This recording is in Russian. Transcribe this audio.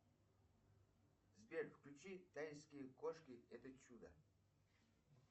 сбер включи тайские кошки это чудо